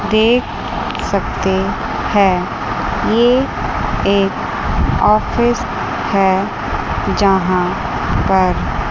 देख सकते है ये एक ऑफिस है जहां पर --